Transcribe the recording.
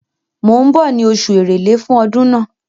Mò ń bọ̀ ní oṣù Èrèlé fún ọdún náà.